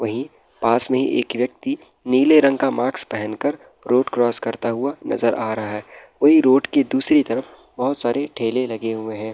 वही पास में एक व्यक्ति नीले रंग का मास्क पहन कर रोड क्रॉस करता हुआ नजर आ रहा है वही रोड के दूसरी तरफ बहुत सारे ठेले लगे हुये है।